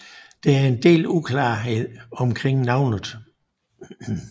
Der er en del uklarhed omkring navnet